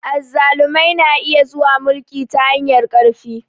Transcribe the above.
Azzalumai na iya zuwa mulki ta hanyar ƙarfi.